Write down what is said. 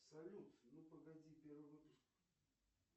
салют ну погоди первый выпуск